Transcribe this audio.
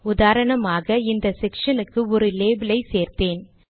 உதாரணமாக இந்த செக்ஷனுக்கு ஒரு லேபிலை சேர்த்தேன்